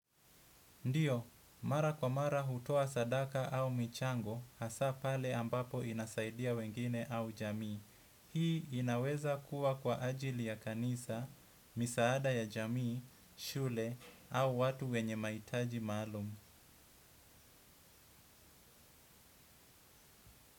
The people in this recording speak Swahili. Ndiyo, mara kwa mara hutoa sadaka au michango hasa pale ambapo inasaidia wengine au jamii. Hii inaweza kuwa kwa ajili ya kanisa, misaada ya jamii, shule au watu wenye mahitaji maalum.